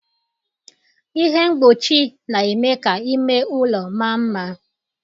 Ihe mgbochi na-eme ka ime ụlọ maa mma